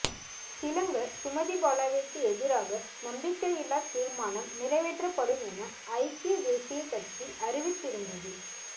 திலங்க சுமதிபாலவிற்கு எதிராக நம்பிக்கையில்லா தீர்மானம் நிறைவேற்றப்படும் என ஐக்கிய தேசியக் கட்சி அறிவித்திருந்தது